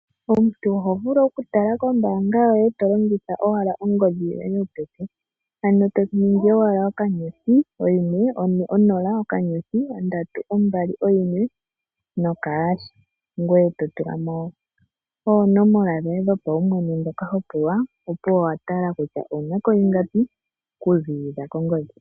Omuntu oho vulu oku tala kombaanga yoye tolongitha owala ongodhi yo ye yopeke. Ano to ningi owala okanyothi oyimwe one onola okanyothi ondatu ombali oyimwe noka hasha ngoye to tulamo oonomola dhoye dhopawumwene ndhoka wahala opuwo owa tala kutya owunako ingapi oku ziilila kongodhi.